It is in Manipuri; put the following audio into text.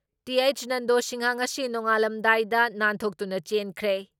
ꯇꯤ.ꯑꯩꯆ ꯅꯟꯗꯣ ꯁꯤꯡꯍ ꯉꯁꯤ ꯅꯣꯡꯉꯥꯜꯂꯝꯗꯥꯏꯗ ꯅꯥꯟꯊꯣꯛꯇꯨꯅ ꯆꯦꯟꯈ꯭ꯔꯦ ꯫